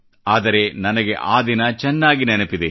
ಆದರೆ ನನಗೆ ಆ ದಿನ ಚೆನ್ನಾಗಿ ನೆನಪಿದೆ